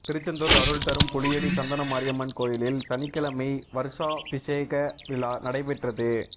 திருச்செந்தூா் அருள்தரும் புளியடி சந்தணமாரியம்மன் கோயிலில் சனிக்கிழமை வருஷாபிஷேக விழா நடைபெற்றது